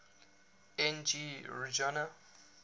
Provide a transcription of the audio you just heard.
n g rjuna